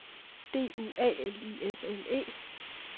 D U A L I S M E